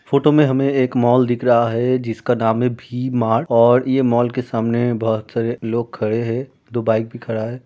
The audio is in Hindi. फोटो में हमें एक मॉल दिख रहा है जिसका नाम है भी मार्ट और ये मॉल के सामने बहोत सारे लोग खड़े हे । दो बाइक भी खड़ा है।